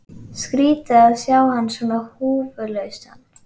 Skrýtið að sjá hann svona húfulausan.